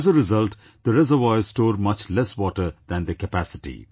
As a result, the reservoirs store much less water than their capacity